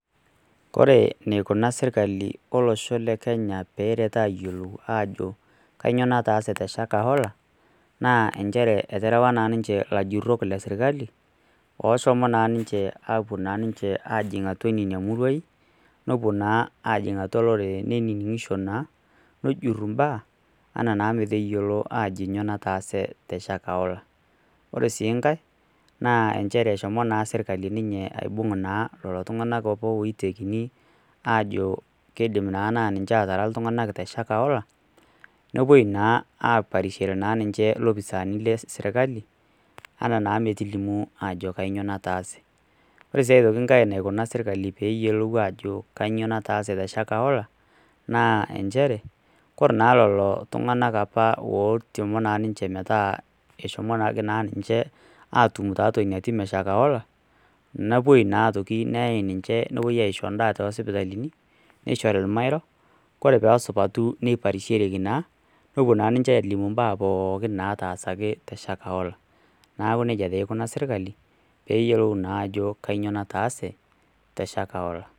Ore enikuna sirkali olosho lekenya pee eret eyiolou ajo kainyo nataase teshakahola naanchere eterewa naa ninche ilajurok lesirkali oshomo naa ninche ajing atua nena murai, nepuo naa ajing atua olorere neniningisho naa nejur mbaa ametayiolo naa ajo nyoo nataase teshakahola ,ore naa nkae naa eshomo sirkali aibung lelo tungak oitekini naa ajo keidim naa ninche otaara iltunganak teshakahola, nepoito naa aparishore ninche ilopisaani lesirkali ana naa metilimu ajo kainyoo nataase ,ore sii enkae nataasa serkali pee eyiolou ajo nyoo nataase teshakahola naa nchere ore naa apa ooitemuo ninche metaa eshomoki naa atum ninche tiatua ina tim eshakahola nepuo naa isho endaa toosipitalini nishori ormairo, ore pee esupatu neiparishoreki naa nepuo naa ninche alimu mbaa pookin naatasaki teshakahola. naaku najie naa eikunari sirkali pee eyiolou ajo kainyo nataase teshakahola.